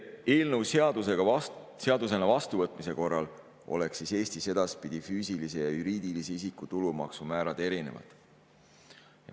Eelnõu seadusena vastuvõtmise korral oleksid Eestis edaspidi füüsilise ja juriidilise isiku tulumaksumäärad erinevad.